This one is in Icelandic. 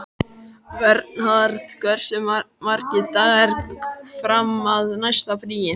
Vernharð, hversu margir dagar fram að næsta fríi?